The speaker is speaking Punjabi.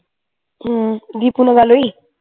ਹਮ ਦੀਪੂ ਨਾਲ ਗੱਲ ਹੋਈ